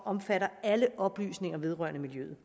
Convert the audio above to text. omfatter alle oplysninger vedrørende miljøet